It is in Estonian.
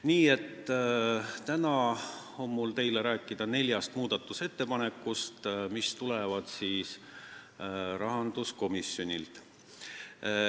Nii et täna on mul teile rääkida neljast muudatusettepanekust, mis tulevad rahanduskomisjonilt.